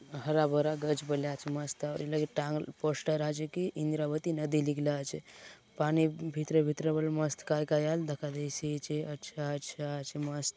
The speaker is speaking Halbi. हरा भरा गच बले आछे मस्त ये लगे टांग पोस्टर आचे की इंद्रावती नदी लिखला आचे पानी भितरे भितरे बले मस्त काय - काय आले दखा देयसि आचे अच्छा अच्छा अछे मस्त --